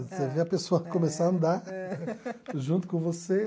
Você vê a pessoa começar a andar junto com você.